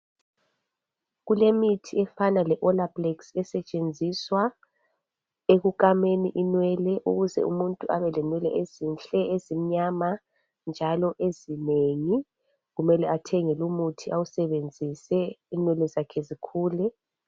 Kulemithi efana leOLAPLEX, esetshenziswa ekukameni inwele. Ukuze umuntu abelenwele ezinhle, ezimnyama, njalo ezinengi. Kumele athenge lumuthi, awusebenzise inwele zakhe zikhule.